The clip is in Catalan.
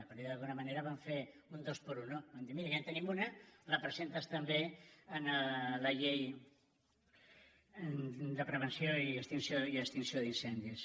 per dir ho d’alguna manera van fer un dos por uno van dir mira ja en tenim una la presentes també en la llei de prevenció i extinció d’incendis